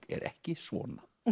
er ekki svona